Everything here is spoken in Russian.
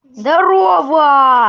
здарова